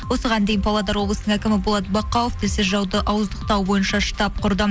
осыған дейін павлодар облысының әкімі болат бақауов тілсіз жауды ауыздықтау бойынша штаб құрды